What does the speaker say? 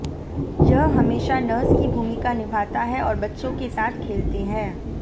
यह हमेशा नर्स की भूमिका निभाता है और बच्चों के साथ खेलते हैं